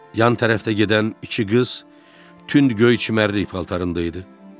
Yan tərəfdə gedən iki qız tünd göy çimərlik paltarında idi.